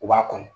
U b'a kɔnɔ